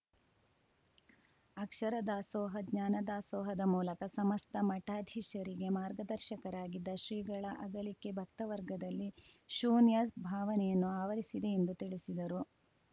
ಅಕ್ಷರ ದಾಸೋಹ ಜ್ಞಾನ ದಾಸೋಹದ ಮೂಲಕ ಸಮಸ್ತ ಮಠಾಧೀಶರಿಗೆ ಮಾರ್ಗದರ್ಶಕರಾಗಿದ್ದ ಶ್ರೀಗಳ ಅಗಲಿಕೆ ಭಕ್ತ ವರ್ಗದಲ್ಲಿ ಶೂನ್ಯ ಭಾವನೆಯನ್ನು ಆವರಿಸಿದೆ ಎಂದು ತಿಳಿಸಿದರು